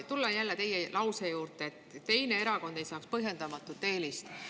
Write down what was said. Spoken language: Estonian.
No tulen jälle teie lause juurde: "Et ükski teine erakond ei saaks põhjendamatut eelist.